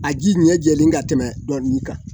A ji ɲɛ jɛlen ka tɛmɛ dɔ in kan